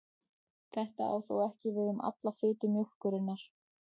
Þetta á þó ekki við um alla fitu mjólkurinnar.